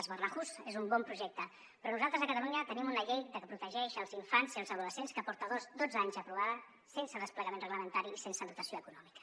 les barnahus és un bon projecte però nosaltres a catalunya tenim una llei que protegeix els infants i els adolescents que porta dotze anys aprovada sense desplegament reglamentari i sense dotació econòmica